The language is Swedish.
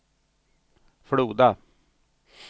Floda